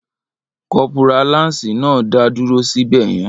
Kọ́pórà láǹsì náà ń dá dúró sí bẹ̀yẹn